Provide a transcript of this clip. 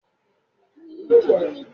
Ṣebí fámásìst ni Bíọ́lá?